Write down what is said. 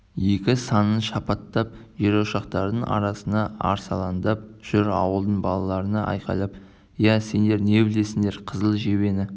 екі санын шапаттап жерошақтардың арасында арсалаңдап жүр ауылдың балаларына айқайлап иә сендер не білесіңдер қызыл жебені